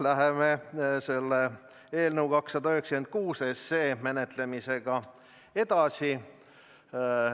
Läheme eelnõu 296 menetlemisega edasi.